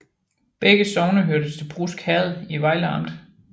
Begge sogne hørte til Brusk Herred i Vejle Amt